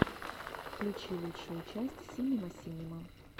включи лучшую часть синема синема